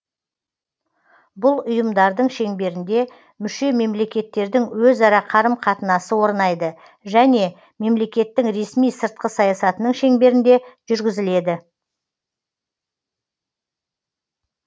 бұл ұйымдардың шеңберінде мүше мемлекеттердің өзара қарым қатынасы орнайды және мемлекеттің ресми сыртқы саясатының шеңберінде жүргізіледі